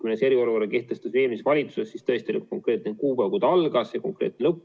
Kui me eriolukorra eelmises valitsuses kehtestasime, siis tõesti oli konkreetne kuupäev, kui ta algas, ja konkreetne lõpp.